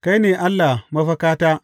Kai ne Allah mafakata.